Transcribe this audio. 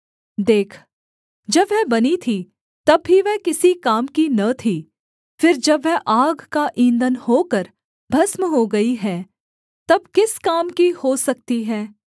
देख जब वह बनी थी तब भी वह किसी काम की न थी फिर जब वह आग का ईंधन होकर भस्म हो गई है तब किस काम की हो सकती है